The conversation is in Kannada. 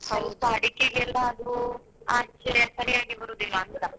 ಅಡಿಕೆಗೆಲ್ಲಾ ಅದು ಸರಿಯಾಗಿ ಬರುದಿಲ್ವಾ ಅಂತ